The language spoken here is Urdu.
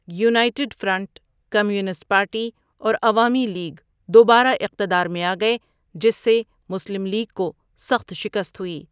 یونائیٹڈ فرنٹ، کمیونسٹ پارٹی، اور عوامی لیگ دوبارہ اقتدار میں آگئے، جس سے مسلم لیگ کو سخت شکست ہوئی۔